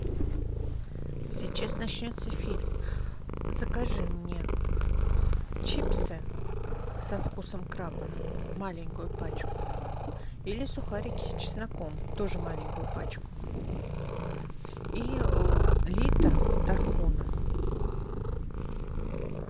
сейчас начнется фильм закажи мне чипсы со вкусом краба маленькую пачку или сухарики с чесноком тоже маленькую пачку и литр тархуна